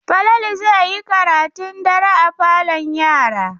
Falalu zai yi karatun dare a falon yara.